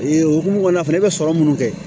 Ee hokumu kɔnɔna na fɛnɛ i be sɔrɔ munnu kɛ